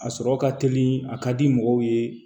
A sɔrɔ ka teli a ka di mɔgɔw ye